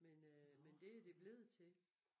Men øh men det det blevet til